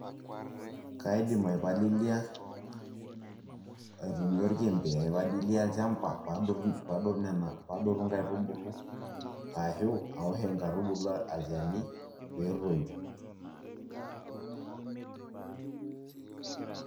Kaidim aipalilia aitumia orkembe , aipalilia olchamba padotu nena, padotu nkaitubulu ashu aosh nkaitubu olchani petoyu.